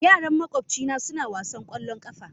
Yaran makwabcina suna wasan ƙwallon ƙafa.